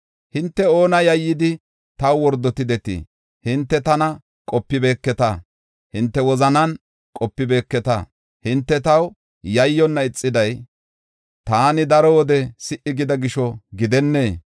“Hinte oona yayyidi, taw wordotidetii? Hinte tana qopibeketa; hinte wozanan qopibeketa. Hinte taw yayyonna ixiday taani daro wode si77i gida gisho gidennee?